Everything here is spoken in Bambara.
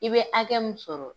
I bɛ hakɛ mun sɔrɔ,